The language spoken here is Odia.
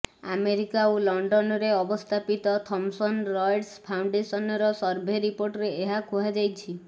ଆମେରିକା ଓ ଇଂଲଣ୍ଡରେ ଅବସ୍ଥାପିତ ଥମସନ୍ ରଏଟର୍ସ ଫାଉଣ୍ଡେସନର ସର୍ଭେ ରିପୋର୍ଟରେ ଏହା କୁହାଯାଇଛି